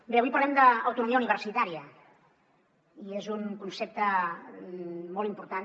bé avui parlem d’autonomia universitària i és un concepte molt important